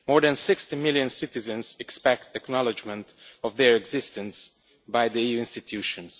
More than 60 million citizens expect acknowledgement of their existence by the EU institutions.